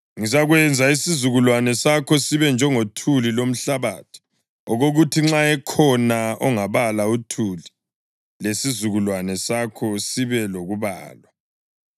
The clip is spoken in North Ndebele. Ngizakwenza isizukulwane sakho sibe njengothuli lomhlabathi, okokuthi nxa ekhona ongabala uthuli, lesizukulwane sakho sibe lokubalwa.